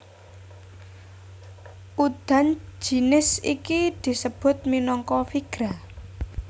Udan jinis iki disebut minangka virga